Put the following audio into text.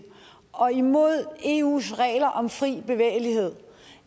og imod eus regler om fri bevægelighed